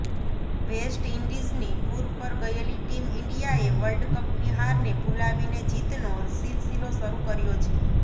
waste ઈન્ડીઝની tour પર ગયેલી ટીમ ઈન્ડિયાએ વર્લ્ડકપની હારને ભૂલાવીને જીતનો સિલસિલો શરૂ કર્યો છે